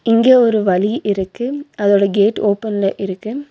இங்கே ஒரு வழி இருக்கு அதோட கேட் ஓப்பன்ல இருக்கு.